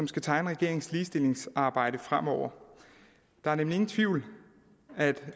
skal tegne regeringens ligestillingsarbejde fremover der er nemlig ingen tvivl